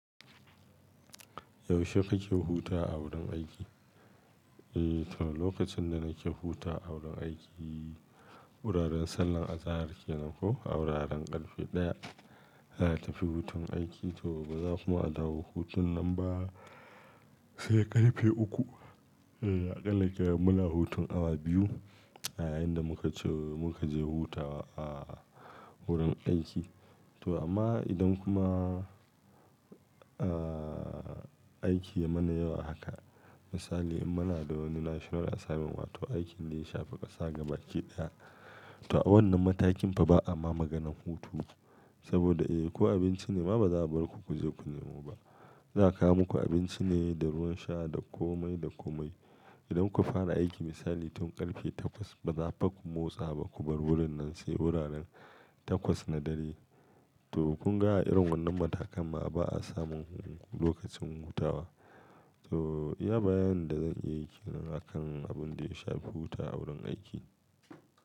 Yaushe kake huta a wurin aiki? Eh to, lokacin da nake hutawa a wurin aiki, wuraren sallar azahar kenan ko, a wuraren karfe ɗaya tafi hutun aiki to ba za kuma a dawo hutun nan ba sai karfe uku. Eh aƙalla kai muna hutun awa biyu, a inda muka ce muka je hutawa a wurin aiki. To amma idan kuma aiki ya mana yawa haka misali in muna da wani national assignment wato aikin da ya shafi ƙasa gabakiɗaya, to a wannan matakin fa ba a ma maganan hutu. Saboda eh ko abinci ne ma ba za a bar ku ku je ku nemo ba. Za a kawo muku abinci ne da ruwan sha da komai da komai. Idan kuka fara aiki misali tun karfe takwas ba za fa ku motsa ba ku bar wurin nan sai wuraren takwas na dare. To kun ga a irin wannan matakan ma ba a samun lokacin hutawa. To iya bayanin da zan iya yi kenan a kan abin da ya shafi hutawa a wurin aiki.